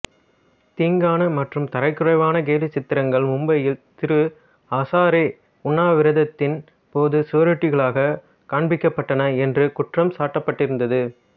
தீங்கான மற்றும் தரக்குறைவான கேலிச்சித்திரங்கள் மும்பையில் திரு ஹசாரே உண்ணாவிரதத்தின் போது சுவரொட்டிகளாக காண்பிக்கப்பட்டன என்று குற்றம் சாட்டப்பட்டிருந்தது